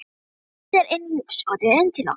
Búin að þvæla sér inn í hugskotið, inn til okkar